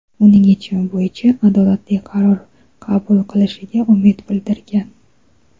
uning yechimi bo‘yicha adolatli qaror qabul qilishiga umid bildirgan.